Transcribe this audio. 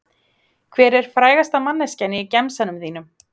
Hver er frægasta manneskjan í gemsanum þínum?